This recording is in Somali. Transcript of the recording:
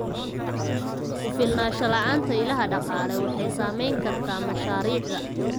Ku filnaansho la'aanta ilaha dhaqaale waxay saameyn kartaa mashaariicda.